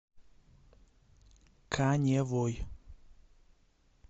каневой